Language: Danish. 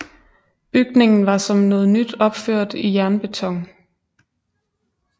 Bygningen var som noget nyt opført i jernbeton